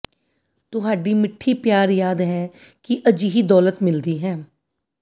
ਤੁਹਾਡੀ ਮਿੱਠੀ ਪਿਆਰ ਯਾਦ ਹੈ ਕਿ ਅਜਿਹੀ ਦੌਲਤ ਮਿਲਦੀ ਹੈ